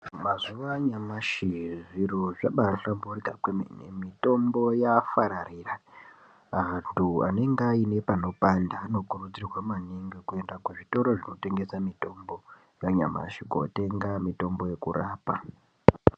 Mazuva anyamashi zviro zvabaahlamburika kwemene, mitombo yaafararira. Antu anenge aine panopanda anokurudzirwa maningi kuenda kuzvitoro zvinotengesa mitombo yanyamashi kootenga mitombo yekurapa.